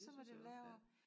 Så må de jo lave